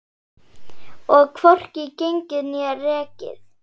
Og hvorki gengið né rekið.